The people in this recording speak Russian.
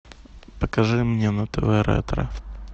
покажи мне на тв ретро